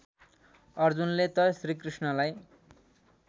अर्जुनले त श्रीकृष्णलाई